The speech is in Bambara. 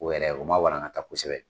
O yɛrɛ o ma walankata kosɛbɛ